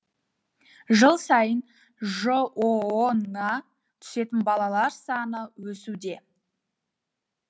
жыл сайын жоо на түсетін балалар саны өсуде